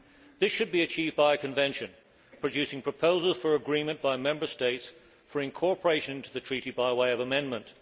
This should be achieved by a convention producing proposals for agreement by Member States for incorporation into the Treaty by way of amendment.